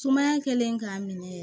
Sumaya kɛlen k'a minɛ